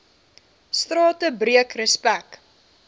strate breek respek